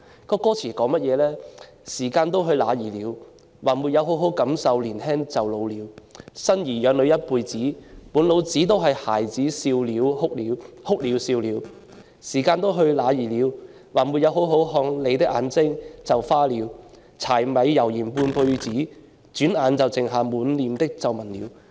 歌詞是這樣的："時間都去哪兒了/還沒好好感受年輕就老了/生兒養女一輩子/滿腦子都是孩子哭了笑了/時間都去哪兒了/還沒好好看看你眼睛就花了/柴米油鹽半輩子/轉眼就只剩下滿臉的皺紋了"。